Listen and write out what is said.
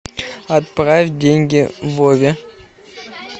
отправь деньги вове